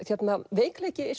veikleiki